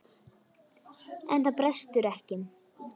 En það brestur ekki.